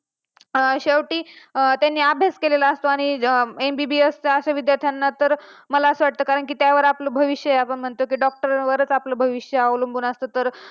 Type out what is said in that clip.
स्त्रियांना शिकवले पाहिजे स्त्री शिकली तर जगाचा उद्धार होऊ शकते श्री शिकली तर पूर्ण घर शिकू शकते त्यामुळे.